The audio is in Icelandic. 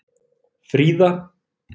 Fríða